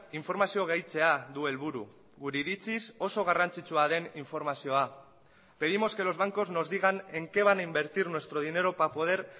informazio gehitzea du helburu gure iritziz oso garrantzitsua den informazioa pedimos que los bancos nos digan en qué van a invertir nuestro dinero para poder